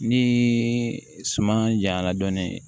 Ni suman jayanra dɔɔnin